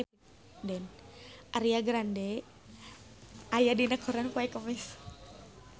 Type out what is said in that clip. Ariana Grande aya dina koran poe Kemis